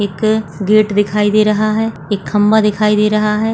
एक गेट दिखाई दे रहा है एक खंभा दिखाई दे रहा है।